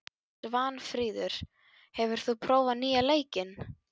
Svanfríður, hefur þú prófað nýja leikinn?